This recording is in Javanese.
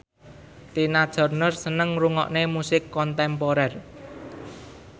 Tina Turner seneng ngrungokne musik kontemporer